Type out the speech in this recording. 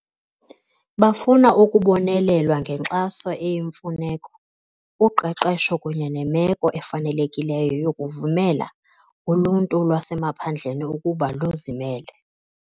Bafuna ukubonelelwa ngenkxaso eyimfuneko, uqeqesho kunye nemeko efanelekileyo yokuvumela uluntu lwasemaphandleni ukuba luzimele.